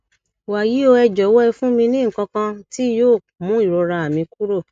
wàyí o ẹ jọwọ ẹ fún mi ní nǹkan kan tí yóò mú ìrora mi kúrò